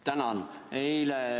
Tänan!